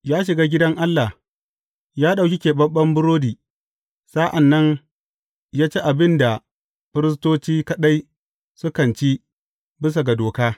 Ya shiga gidan Allah, ya ɗauki keɓaɓɓen burodi, sa’an nan ya ci abin da firistoci kaɗai sukan ci bisa ga doka.